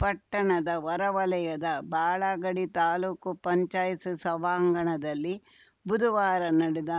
ಪಟ್ಟಣದ ಹೊರವಲಯದ ಬಾಳಗಡಿ ತಾಲೂಕು ಪಂಚಾಯ್ತಿ ಸಭಾಂಗಣದಲ್ಲಿ ಬುದುವಾರ ನಡೆದ